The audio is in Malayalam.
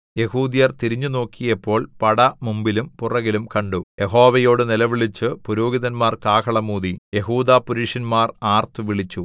യെഹൂദ്യർ തിരിഞ്ഞുനോക്കിയപ്പോൾ പട മുമ്പിലും പുറകിലും കണ്ടു യഹോവയോട് നിലവിളിച്ചു പുരോഹിതന്മാർ കാഹളം ഊതി യെഹൂദാപുരുഷന്മാർ ആർത്തുവിളിച്ചു